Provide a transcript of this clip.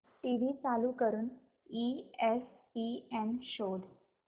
TV चालू करून ESPN शोध